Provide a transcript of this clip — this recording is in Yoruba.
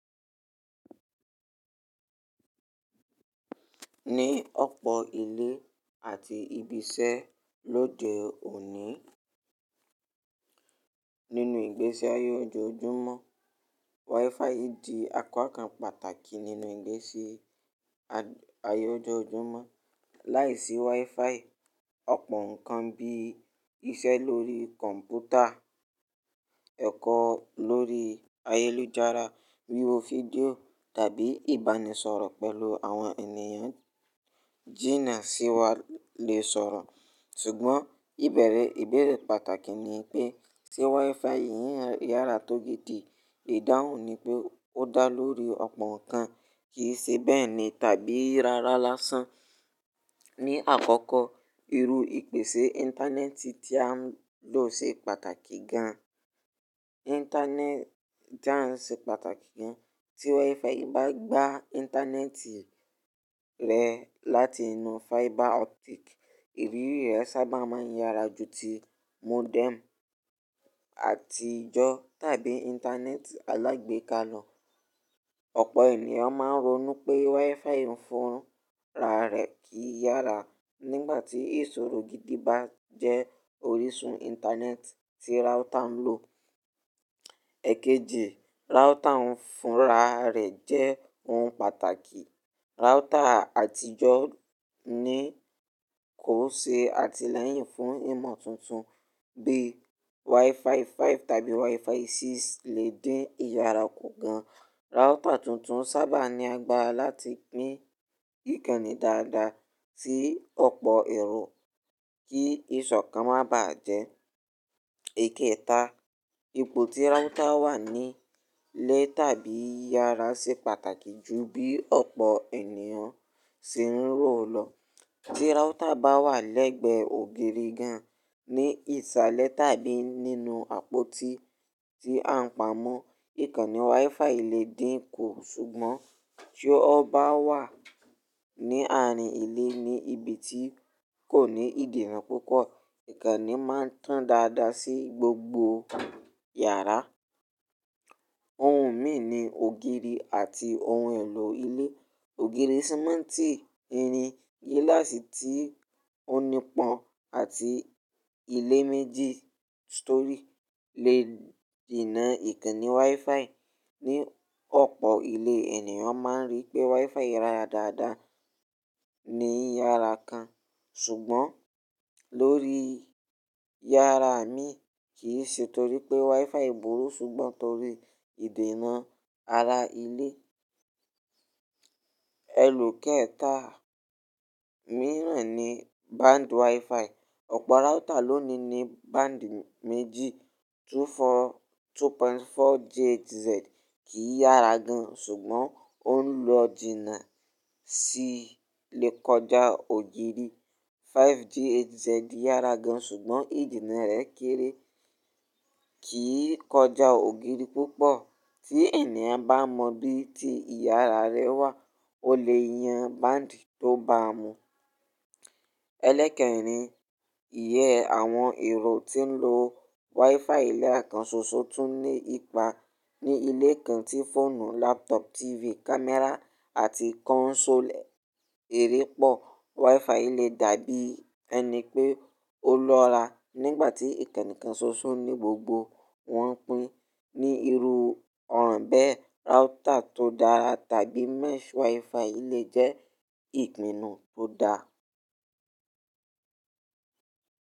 Ní ọ̀pọ̀ ilé àti ibi iṣẹ́ lóde òní Nínú ìgbésí ayé ojoojúmọ́, WiFi di apa kan pàtàkì nínú ìgbésí-- ayé ojoojúmọ́. Láìsí WiFi, ọ̀pọ̀ nkan bí iṣẹ́ lórí kọ̀m̀pútà, ẹ̀kọ́ lórí ayélujára, wíwo fídíò tàbí ìbánisọ̀rọ̀ pẹ̀lú àwọn ènìyàn jìnà sí wa lè sọ̀rọ̀. Ṣùgbọ́n ìbẹ̀rẹ̀ ìbéèrè pàtàkì ni pé, ṣe WiFi yìí yára tó gidi? Ìdáhùn ni pé ó dá lórí ọ̀pọ̀ nkan, kì í ṣe bẹ́ẹ̀ ni tàbí rárá lásán. Ni àkọ́kọ́, irú ìpèsè Íńtánẹ́ẹ̀tì tí a ń lò ṣe pàtàkì gan. Íńtánẹ́ẹ̀-- tí a ń ṣe pàtàkì gan. Ti WiFi bá gba Íńtánẹ́ẹ̀tì rẹ láti inú fiber optic, ìrírí rẹ sábà máa ń yára ju ti modem àtijọ́ tàbí Íńtánẹ́ẹ̀tì alágbèéká lọ. Ọ̀pọ̀ ènìyàn máa ń ronú pé WiFi fún ra rẹ̀ kì i yára. Nígbà tí ìṣòro gidi bá jẹ́ orísun Íńtánẹ́ẹ̀tì tí router ń lò--, Ẹ̀kejì, router ń fún ra rẹ̀ jẹ́ ohun pàtàkì. Router àtijọ́ Ní kò n ṣe àtìlẹ́yìn fún ìmọ̀ tuntun bí WiFi five tàbí WiFi six lè dín ìyára kù gan. Router tuntun sábà ní agbára láti pín ìkànnì dáadáa sí ọ̀pọ̀ èrò, kí ìṣọ̀kan má bàá jẹ́--, Ikẹeta, ipò tí router wà ní ilé tàbí yàrá ṣe pàtàkì ju bí ọ̀pọ̀ ènìyàn ṣe ń rò lọ. Tí router bá wà lẹ́gbẹ́ ògiri gan ní ìsàlẹ̀ tàbí nínú àpótí tí a ń pa mọ́, ìkànnì WiFi lè dín kù. Ṣùgbọ́n, tí ó bá wà ní àárín ilé ní ibi tí kò ní ìdènà púpọ̀, ìkànnì máa tán dáadáa sí gbogbo yàrá. Ohun mìí ni ògiri àti ohun èlò ilé-, Ògiri sìmẹ́ńtì, irin, gíláàsì tí ó nípọn àti ilé méjì, stọry lè dènà ìkànnì WiFi. Ni ọ̀pọ̀ ilé, ènìyàn máa ń rí pé WiFi yára dáadáa, ní yàrá kan ṣùgbọ́n, lórí yàrá mìíràn kì í ṣe torí pé WiFi burú ṣùgbọ́n torí ìdènà ara ilé. Ẹlo kẹ́ta-- mìíràn ni, band WiFi. Ọ̀pọ̀ router lónìí ní band méjì. 24, two point four GHz kì í yára gan ṣùgbọ́n ó ń lo jìnà sí lè kọjá ògiri, Five GH--, Z yára gan, ṣùgbọ́n ìdènà rẹ̀ kéré, kì í kọjá ògiri púpọ̀. Tí ènìyàn bá mọ bí i ti ìyára rẹ wà, ó lè yan band tó bá mu. Ẹlẹ́ kẹrin, iye àwọn èrò tí ń lo WiFi lẹ́ẹ̀kan ṣoṣo tún ní ipa. Ni ilé kan tí fóònù, laptop, TV, camera àti console-- eré pọ̀, WiFi lè dàbí ẹni pé ó lọ́ra nígbà tí ìkànnì kan ṣoṣo ní gbogbo wọn pín ní irú ọ̀ràn bẹ́ẹ̀. Router tó dára tàbí mesh WiFi lè jẹ́ ìpinnu tó da.